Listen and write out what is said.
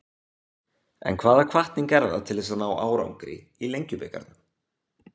En hvaða hvatning er það til þess að ná árangri í Lengjubikarnum?